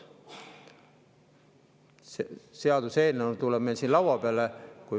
Üks seaduseelnõu tuleb meil siin laua peale.